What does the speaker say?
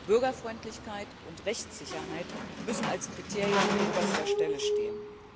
Bürgerfreundlichkeit und Rechtssicherheit müssen als Kriterien an oberster Stelle stehen.